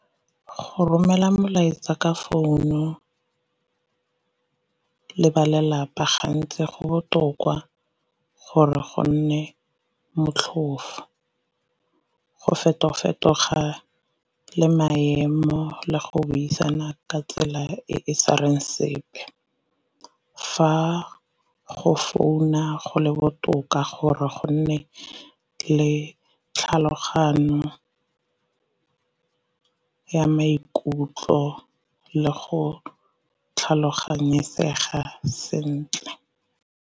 Go romela molaetsa ka founu le ba lelapa gantsi go botoka gore go nne motlhofo, go feto-fetoga le maemo le go buisana ka tsela e e sa reng sepe. Fa go founa go le botoka gore gonne le tlhaloganyo ya maikutlo le go tlhaloganyesega sentle.